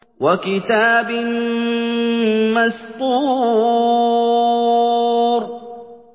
وَكِتَابٍ مَّسْطُورٍ